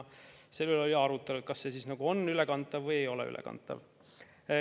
Selle üle oli arutelu, kas see on ülekantav või ei ole ülekantav.